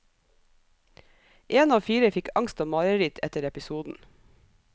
En av fire fikk angst og mareritt etter episoden.